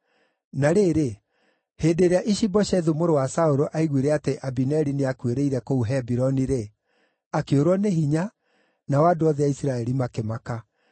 Na rĩrĩ, hĩndĩ ĩrĩa Ishi-Boshethu mũrũ wa Saũlũ aaiguire atĩ Abineri nĩakuĩrĩire kũu Hebironi-rĩ, akĩũrwo nĩ hinya, nao andũ othe a Isiraeli makĩmaka.